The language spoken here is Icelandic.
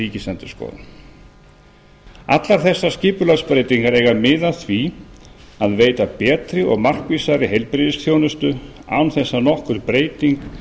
ríkisendurskoðun allar þessar skipulagsbreytingar eiga að miða að því að veita betri og markvissari heilbrigðisþjónustu án þess að nokkur breyting